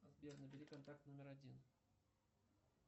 сбер набери контакт номер один